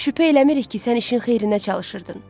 Şübhə eləmirik ki, sən işin xeyrinə çalışırdın.